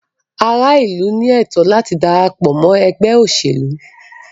Ará ìlú ní ẹ̀tọ́ láti darapọ̀ mọ́ ẹgbẹ́ òṣèlú.